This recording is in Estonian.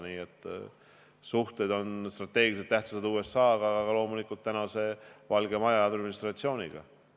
Nii et suhted USA-ga on strateegiliselt tähtsad, aga loomulikult suhted ka Valge Maja administratsiooniga.